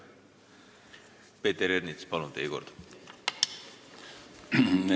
Peeter Ernits, palun, teie kord!